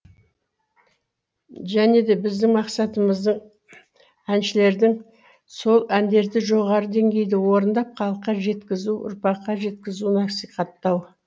және де біздің мақсатымыздың әншілердің сол әндерді жоғары деңгейде орындап халыққа жеткізу ұрпаққа жеткізу насихаттау